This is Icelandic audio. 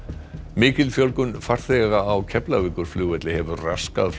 mikil fjölgun farþega á Keflavíkurflugvelli hefur raskað